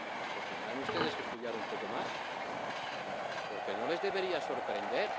Pues tendrán ustedes que estudiar un poco más, porque no les debería sorprender.